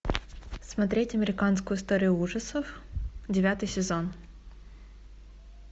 смотреть американскую историю ужасов девятый сезон